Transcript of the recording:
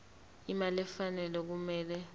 imali efanele okumele